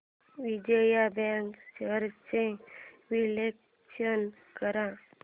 Vijaya bank shares चे विश्लेषण कर